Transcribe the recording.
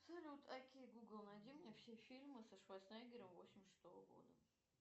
салют окей гугл найди мне все фильмы со шварценеггером восемьдесят шестого года